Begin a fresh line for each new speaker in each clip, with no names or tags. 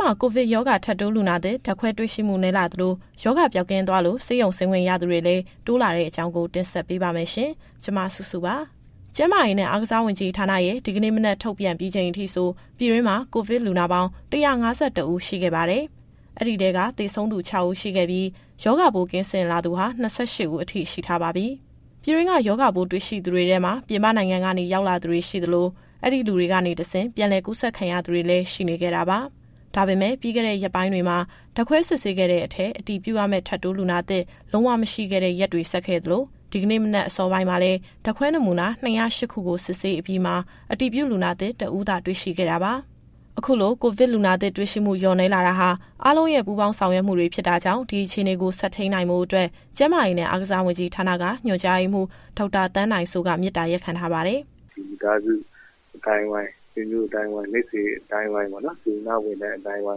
မှာ ကိုဗစ်ရောဂါ ထပ်တိုးလူနာသစ် ဓါတ်ခွဲ တွေ့ရှိမှု နည်းလာသလို၊ ရောဂါပိုးပျောက်ကင်းသွားလို့ ဆေးရုံဆင်းခွင့်ရသူတွေလည်း တိုးလာတဲ့အကြောင်းကို ဗွီအိုအေမြန်မာပိုင်းသတင်းထောက် မစုစုက တင်ဆက်ပေးပါမယ်။ ကျန်းမာရေးနဲ့ အားကစားဝန်ကြီးဌာနရဲ့ ဒီကနေ့မနက်ထုတ်ပြန်ပြီးချိန်အထိဆို ပြည်တွင်းမှာ ကိုဗစ်လူနာပေါင်း ၁၅၁ ဦး ရှိခဲ့ပါတယ်။ အဲဒီထဲက သေဆုံးသူ ၆ ဦး ရှိခဲ့ပြီး၊ ရောဂါပိုးကင်းစင်လာသူဟာ ၂၈ ဦးအထိ ရှိထားပါပြီ။ ပြည်တွင်းက ရောဂါပိုးတွေ့ရှိသူတွေထဲမှာ ပြည်ပနိုင်ငံကနေရောက်ရှိလာသူတွေရှိသလို၊ အဲဒီလူတွေကနေတဆင့် ပြန်လည်ကူးစက်ခံရသူတွေလည်း ရှိနေခဲ့တာပါ။ ဒါပေမဲ့ ပြီးခဲ့တဲ့ရက်ပိုင်းတွေမှာ ဓာတ်ခွဲစစ်ဆေးခဲ့တဲ့အထဲ အတည်ပြုရမယ့် ထပ်တိုးလူနာသစ် လုံးဝ မရှိခဲ့တဲ့ ရက်တွေဆက်ခဲ့သလို ဒီကနေ့မနက်အစောပိုင်းမှာလည်း ဓာတ်ခွဲနမူနာ ၂၀၈ ခုကို စစ်ဆေးအပြီးမှာ အတည်ပြုလူနာသစ် ၁ ဦးကိုသာ တွေ့ရှိခဲ့တာပါ။ အခုလို ကိုဗစ်လူနာသစ်တွေ့ရှိမှု လျော့နည်းလာတာဟာ အားလုံးရဲ့ ပူးပေါင်းဆောင်ရွက်မှုတွေ ဖြစ်တာကြောင့် ဒီအခြေအနေကို ဆက်ထိန်းနိုင်ဖို့အတွက် ကျန်းမာရေးနဲ့ အားကစားဝန်ကြီးဌာနက ညွှန်ကြားရေးမှူး ဒေါက်တာသန်းနိုင်စိုးက မေတ္တာရပ်ခံထားပါတယ်။
“မိသားစုအသိုင်းအဝိုင်း၊ ဆွေမျိုးအသိုင်းအဝိုင်း၊ မိတ်ဆွေအသိုင်းအဝိုင်း၊ စေတနာ့ဝန်ထမ်းအသိုင်းအဝို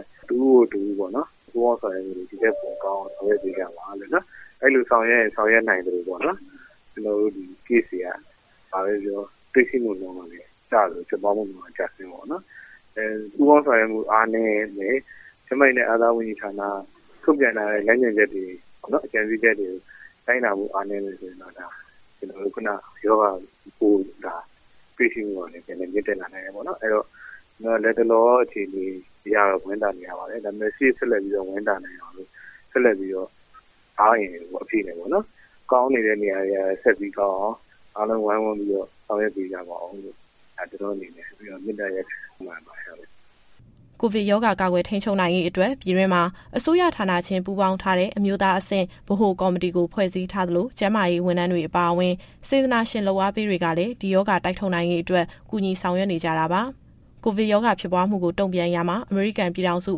င်း၊ တဦးကို တဦးပေါ့နော်… ပူးပေါင်းဆောင်ရွက်မှုတွေ ဒီထက်ပိုကောင်းအောင် ဆောင်ရွက်ပေးကြပါ။ အဲလိုဆောင်ရွက်ရင် ဆောင်ရွက်နိုင်သလိုပေါ့နော်၊ ကျနော်တို့ ဒီ Case တွေက တွေ့ရှိမှုနှုန်းက ကျသလို၊ ဖြစ်ပွားမှုနှုန်းလည်း ကျဆင်းမှာပေါ့နော်။ ပူးပေါင်းဆောင်ရွက်မှု အားနည်းမယ်၊ ကျန်းမာရေးနဲ့ အားကစားဝန်ကြီးဌာနက ထုတ်ပြန်ထားတဲ့ လမ်းညွှန်ချက်တွေကိုလည်း လိုက်နာမှု အားနည်းမယ်ဆိုရင်တော့ ရောဂါပိုးတွေ့ရှိမှုကလည်း ပြန်လည်မြင့်တက်လာနိုင်တယ်ပေါ့နော်။ အဲဒီတော့ လတ်တလောအခြေအနေအရတော့ ဝမ်းသာနေရပါတယ်။ ဒါပေမဲ့ ရှေ့ဆက်ပြီးဝမ်းသာနိုင်အောင်လို့ ဆက်လက်ပြီး အားအင်အပြည့်နဲ့ ကောင်းနေတဲ့နေရာတွေ ဆက်ပြီးကောင်းအောင် အားလုံးဝိုင်းဝန်းပြီးတော့ ဆောင်ရွက်ပေးကြပါဦးလို့ မေတ္တာရပ်ခံအပ်ပါတယ်။
” ကိုဗစ်ရောဂါကာကွယ် ထိန်းချုပ်နိုင်ရေးအတွက် ပြည်တွင်းမှာ အစိုးရဌာနချင်း ပူးပေါင်းထားတဲ့ အမျိုးသားအဆင့် ဗဟိုကော်မတီကို ဖွဲ့စည်းထားသလို၊ ကျန်းမာရေးဝန်ထမ်းတွေအပါအဝင်၊ စေတနာရှင်လုပ်အားပေးတွေကလည်း ဒီရောဂါတိုက်ထုတ်နိုင်ရေးအတွက် ကူညီဆောင်ရွက်နေကြတာပါ။ ကိုဗစ်ရောဂါ ဖြစ်ပွားမှုကို တုံ့ပြန်ရာမှာ အမေရိကန်ပြည်ထောင်စု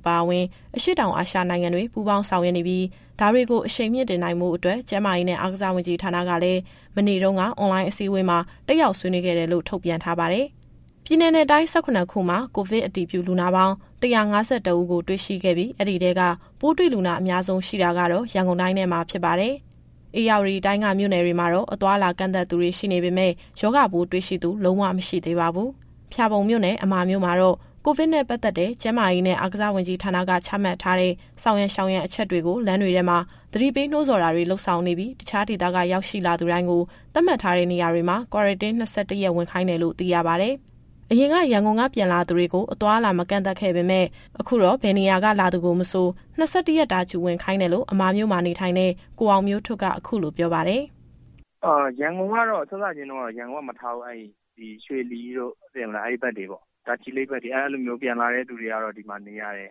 အပါအဝင် အရှေ့တောင်အာရှနိုင်ငံတွေ ပူးပေါင်းဆောင်ရွက်နေပြီး ဒါတွေကို အရှိန်မြှင့်တင်နိုင်ဖို့အတွက် ကျန်းမာရေးနဲ့အားကစားဝန်ကြီးဌာနကလည်း မနေ့တုန်းက အွန်လိုင်းအစည်းအဝေးမှာ တက်ရောက်ဆွေးနွေးခဲ့တယ်လို့ ထုတ်ပြန်ထားပါတယ်။ ပြည်နယ်နဲ့တိုင်း ၁၇ ခုမှာ ကိုဗစ်အတည်ပြုလူနာပေါင်း ၁၅၁ ဦးကိုတွေ့ရှိခဲ့ပြီး အဲဒီထဲက ပိုးတွေ့လူနာအများဆုံး ရှိတာကတော့ ရန်ကုန်တိုင်းထဲမှာ ဖြစ်ပါတယ်။ ဧရာဝတီတိုင်းက မြို့နယ်တွေမှာတော့ အသွားအလာကန့်သတ်ထားသူတွေ ရှိနေပေမဲ့ ရောဂါပိုးတွေ့ရှိသူ လုံးဝ မရှိသေးပါဘူး။ ဖျာပုံမြို့နယ်၊ အမာမြို့မှာတော့ ကိုဗစ်နဲ့ပတ်သက်တဲ့ ကျန်းမာရေးနဲ့ အားကစားဝန်ကြီးဌာနက ချမှတ်ထားတဲ့ ဆောင်ရန်ရှောင်ရန်အချက်တွေကို လမ်းတွေထဲမှာ သတိပေးနှိုးဆော်တာတွေလုပ်ဆောင်နေပြီး တခြားဒေသက ရောက်လာသူတိုင်းကို သတ်မှတ်ထားတဲ့နေရာတွေမှာ Quarantine ၂၁ ရက်ဝင်ခိုင်းတယ်လို့ သိရပါတယ်။ အရင်ကရန်ကုန်ကနေ ပြန်လာသူတွေကို အသွားအလာ မကန့်သတ်ခဲ့ပေမဲ့ အခုတော့ ဘယ်နေရာက လာသူကိုမဆို ၂၁ ရက်တာ Q ဝင်ခိုင်းတယ်လို့ အမာမြို့မှာ နေထိုင်တဲ့ ကိုအောင်မျိုးထွဋ်က အခုလိုပြောပါတယ်။ “
စစချင်းတုန်းကတော့ ရန်ကုန်က ပြန်လာသူတွေကို မထားဘူး။ ရွှေလီတို့ တာချီလိတ်ဘက်တို့ကနေ ပြန်လာသူတွေကိုတော့ ဒီမှာ Q ဝင်ရတယ်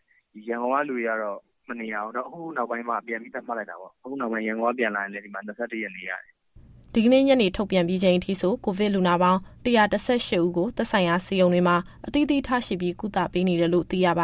။ ရန်ကုန်က လူတွေကတော့ မနေရဘူး။ ဒါပေမဲ့ အခုနောက်ပိုင်းတော့ ရန်ကုန်က ပြန်လာသူတွေလည်း ၂၁ ရက်နေရတယ်။
” ဒီကနေ့ညနေထုတ်ပြန်ပြီးချိန်အထိ ကိုဗစ်လူနာပေါင်း ၁၁၈ ဦးကို သက်ဆိုင်ရာဆေးရုံတွေမှာ အသီးသီးထားရှိပြီး ကုသပေးနေတယ်လို့ သိရပါ